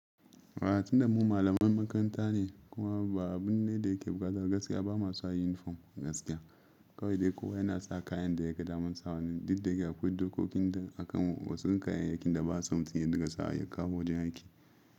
A tun da mu malaman makaranta ne kuma ba abun ne da yake bukata gaskiya ba ma sa unifom gaskiya. Kawai dai kowa yana sa kayan da ya ga daman sawa ne, duk da yake akwai dokokin da akan wasu kaya yakin da ba a son mutum ya dinga sawa ya kawo wajen aiki.